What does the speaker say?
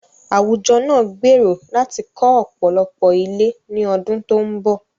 Àwùjọ náà gbèrò láti kọ́ ọ̀pọ̀lọpọ̀ ilé ní ọdún tó ń bọ̀.